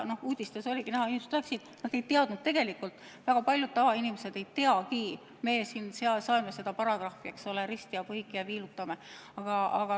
Nagu uudistes oligi näha, väga paljud inimesed ei teadnud tegelikult, et meie siin saeme seda paragrahvi, eks ole, risti ja põiki ja viilutame.